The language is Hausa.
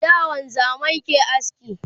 a da wanzamai ke aske